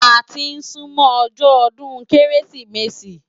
Áti n súmò òjò òdún Kérésimési